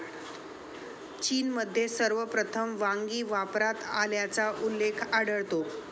चीनमध्ये सर्वप्रथम वांगी वापरात आल्याचा उल्लेख आढळतो.